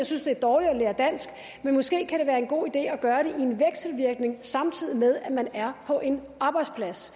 synes det er dårligt at lære dansk men måske kan det være en god idé at gøre det samtidig med at man er på en arbejdsplads